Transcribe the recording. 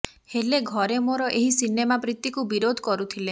ହେଲେ ଘରେ ମୋର ଏହି ସିନେମା ପ୍ରୀତିକୁ ବିରୋଧ କରୁଥିଲେ